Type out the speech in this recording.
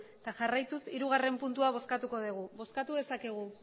eta jarraituz hirugarrena puntua bozkatuko dugu bozkatu dezakegu